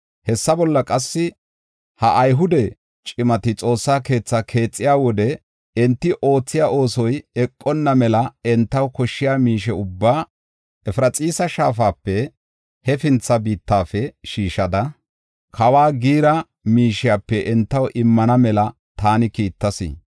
Hessa bolla qassi, “Ha Ayhude cimati Xoossa keetha keexiya wode, enti oothiya oosoy eqonna mela entaw koshshiya miishe ubbaa Efraxiisa Shaafape hefintha biittafe shiishida kawa giira miishiyape entaw immana mela taani kiittas.